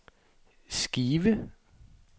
skive